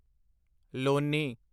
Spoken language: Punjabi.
ਲੋਨੀ